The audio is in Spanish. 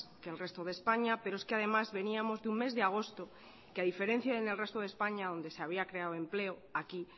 que el resto de españa pero es que además veníamos de un mes de agosto que a diferencia del resto de españa donde se había creado empleo aquí